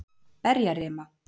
Berjarima